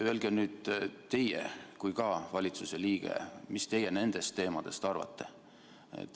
Öelge nüüd teie kui ka valitsuse liige, mis teie nendest teemadest arvate.